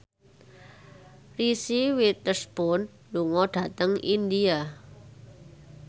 Reese Witherspoon lunga dhateng India